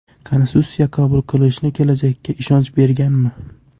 Konstitutsiya qabul qilinishi kelajakka ishonch berganmi?